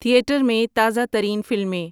theatre میں تازہ ترین فلمیں